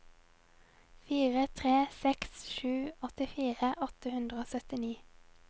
fire tre seks sju åttifire åtte hundre og syttini